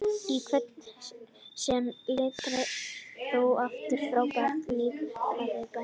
líf kvenna sem tilheyrðu aðalsstétt var þó afar frábrugðið lífi kvenna af bændastétt